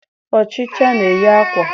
Ọchịcha na-eyi akwa.